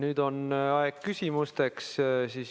Nüüd on aeg küsimusteks.